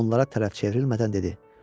Onlara tərəf çevrilmədən dedi.